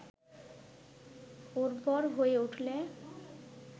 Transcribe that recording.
উর্বর হয়ে উঠলে